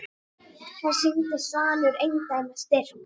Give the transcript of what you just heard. Þar sýndi Svanur eindæma styrk.